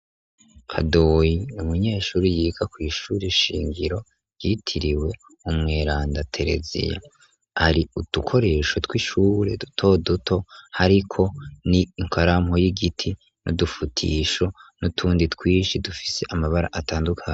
Kadoyi n’umunyeshuri yiga kw'ishuri shingiro ryitiriwe umweranda teleziya, ari udukoresho tw'ishure dutoduto hariko ni inkarampo y'igiti ni udufutisho nutundi twishi dufise amabara atandukanye.